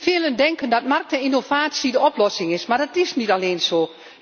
Velen denken dat marktinnovatie de oplossing is, maar dat is niet alleen zo.